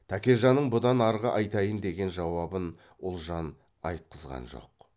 тәкежанның бұдан арғы айтайын деген жауабын ұлжан айтқызған жоқ